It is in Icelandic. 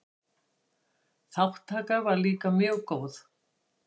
Þátttaka var líka mjög góð.